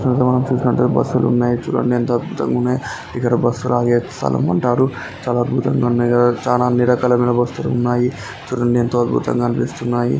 మనం చూసినట్లయితే బస్సు లు ఉన్నాయి చూడండి ఎంత అద్భుతంగా ఉన్నాయో ఇక్కడ బస్సు లు ఆగే స్థలం అంటారు. చాలా అద్భుతంగా ఉన్నాయి కదా చాలా అన్ని రకాలైన బస్సు లు ఉన్నాయి. చూడండి ఎంతో అద్భుతంగా అనిపిస్తున్నాయి.